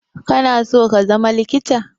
Kana so ka zama likita?